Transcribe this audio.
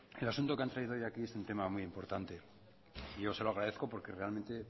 el asunto que han traído hoy aquí es un tema muy importante y yo se lo agradezco porque realmente